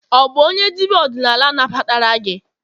ọ bu onye dibia odinala nagbatara gi?